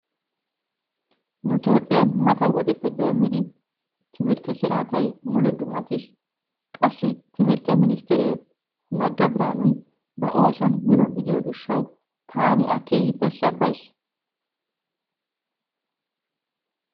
Nu Toophphiyan mata wodeppe doommidi timirtte siraatay mule dummatiis. Qassi timirtte ministtiere Nagga Biraanuy ba oosuwan mino gidiyo gishshawu taani A keehippe sabbays.